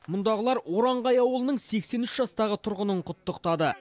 мұндағылар оранғай ауылының сексен үш жастағы тұрғынын құттықтады